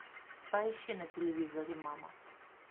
поищи на телевизоре мама